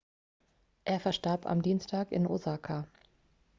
er verstarb am dienstag in osaka